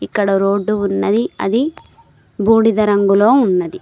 ఇక్కడ రోడ్డు ఉన్నది. అది బూడిద రంగులో ఉన్నది.